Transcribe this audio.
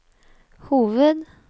hoved